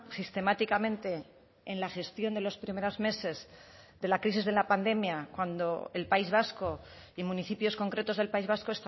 sistemáticamente en la gestión de los primeros meses de la crisis de la pandemia cuando el país vasco y municipios concretos del país vasco